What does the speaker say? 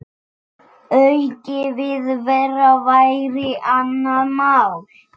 Aukin viðvera væri annað mál.